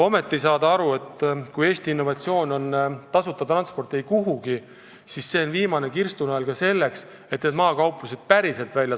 Samas ei saada aru, et kui Eesti innovatsioon on tasuta transport eikuhugi, siis see on selles mõttes viimane kirstunael, et maakauplused surevad päriselt välja.